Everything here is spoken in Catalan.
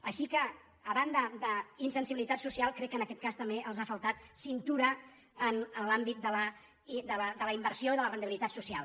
així que a banda d’in·sensibilitat social crec que en aquest cas també els ha faltat cintura en l’àmbit de la inversió i de la rendibi·litat social